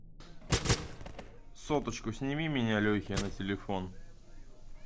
соточку сними у меня лехе на телефон